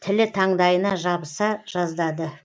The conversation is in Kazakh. тілі таңдайына жабыса жаздады